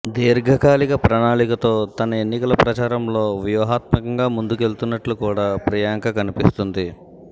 దీర్ఘకాలిక ప్రణాళికతో తన ఎన్నికల ప్రచారంలో వ్యూహాత్మకంగా ముందుకెళ్తున్నట్టు కూడా ప్రియాంక కనిపిస్తోంది